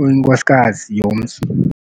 uyinkosikazi yomzi.